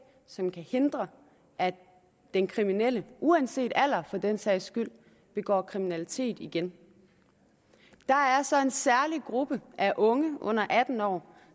som kan hindre at den kriminelle uanset alder for den sags skyld begår kriminalitet igen der er så en særlig gruppe af unge under atten år